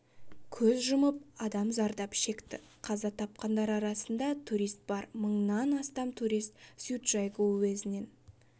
көз жұмып адам зардап шекті қаза тапқандар арасында турист бар мыңнан астам турист цзючжайгоу уезінен